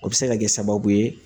O bɛ se ka kɛ sababu ye